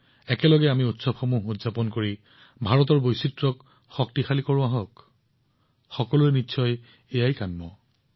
আহক আমি সকলোকে লগত লৈ ভাৰতৰ বৈচিত্ৰ্যক শক্তিশালী কৰি আমাৰ উৎসৱবোৰ উদযাপন কৰোঁ এয়াই সকলোৰে ইচ্ছা